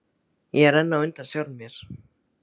Ég er enn á undan sjálfum mér.